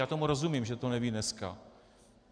Já tomu rozumím, že to neví dneska.